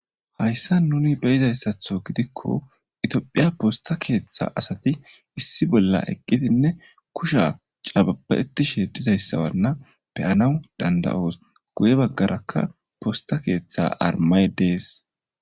Hayssa nuni be'izayssatho gidikko itophiya posta keeththa asati issi bolla eqqidinne kusha cababa'ettishe dizayssawanna be'anaw danda'oos guye baggarakka posta keeththa armay de'es.